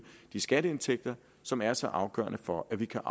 de skatteindtægter som er så afgørende for at vi kan